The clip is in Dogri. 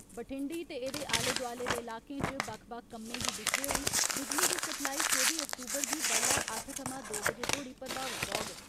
बठिंडी ते एदे आले दोआले दे इलाकें च बक्ख बक्ख कम्में गी दिक्खदे होई बिजली दी सप्लाई चौबी अक्तूबर गी बड्डलै अट्ठ थमां दो बजे तोड़ी प्रभावित रौहग।